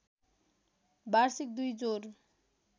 वार्षिक २ जोर